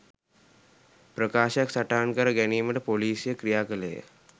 ප්‍රකාශයක් සටහන් කර ගැනීමට පොලිසිය ක්‍රියා කළේය